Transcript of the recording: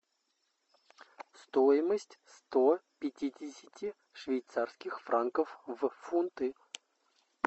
стоимость сто пятидесяти швейцарских франков в фунты